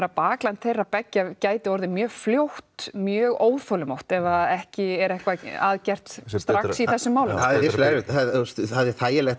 bakland þeirra beggja gæti orðið mjög fljótt mjög óþolinmótt ef ekki er eitthvað að gert strax í þessum málum það er þægilegt